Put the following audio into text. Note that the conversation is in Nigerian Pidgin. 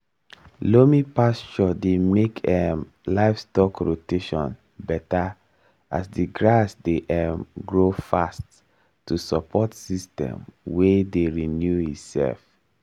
loamy pasture dey make um livestock rotation better as the grass dey um grow fast to support system wey dey renew itself.